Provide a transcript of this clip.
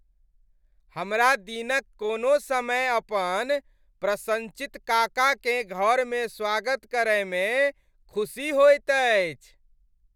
हमरा दिनक कोनो समय अपन प्रसन्नचित्त काकाकेँ घरमे स्वागत करयमे खुशी होइत अछि।